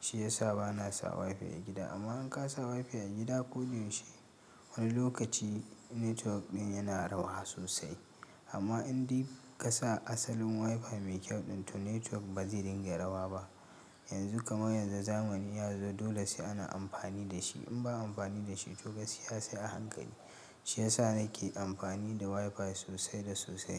Shi ya sa bana sa WiFi a gida. Amma in ka sa WiFi a gida ko da yaushe, wani lokaci network ɗin yana rawa sosai. Amma in dai ka sa asalin WiFi mai kyau ɗin, to network ba zai dinga rawa ba. Yanzu, kamar yanzu zamani ya zo dole sai ana amfani da shi. In ba amfani da shi to gaskiya sai a hankali. Shi ya sa nake amfani da WiFi sosai da sosai.